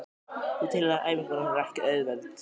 Það tilheyrir æfingunni og hún er ekkert auðveld.